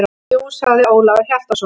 Jú, sagði Ólafur Hjaltason.